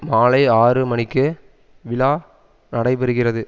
மாலை ஆறு மணிக்கு விழா நடைபெறுகிறது